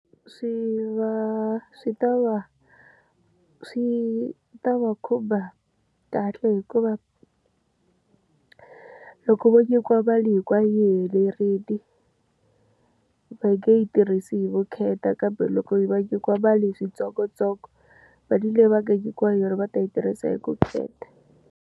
Swi va swi ta va swi ta va khumba kahle hikuva loko vo nyikiwa mali hinkwayo yi helerile, va nge yi tirhisi hi vukheta kambe loko va nyikiwa mali hi swintsongontsongo mali leyi va nga nyikiwa yona va ta yi tirhisa hi vukheta.